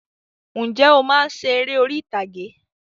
Ǹjẹ́ o máa ń ṣe eré orí ìtàgé?